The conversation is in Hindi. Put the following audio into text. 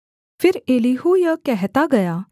फिर एलीहू यह कहता गया